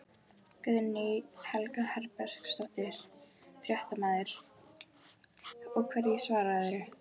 Guðný Helga Herbertsdóttir, fréttamaður: Og hverju svararðu?